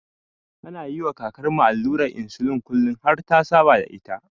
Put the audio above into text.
Ana yiwa kakarmu allurar insulin kullin har ta saba da ita.